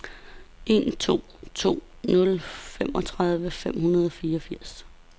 en to to nul femogtredive fem hundrede og fireogfirs